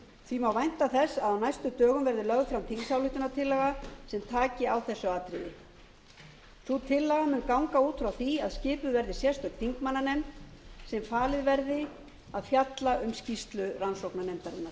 því má vænta þess að á næstu dögum verði lögð fram þingsályktunartillaga sem taki á þessu atriði sú tillaga mun ganga út frá því að skipuð verði sérstök þingmannanefnd sem falið verði að fjalla um skýrslu rannsóknarnefndarinnar